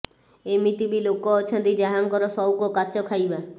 ଏମିତି ବି ଲୋକ ଅଛନ୍ତି ଯାହାଙ୍କର ସଉକ କାଚ ଖାଇବା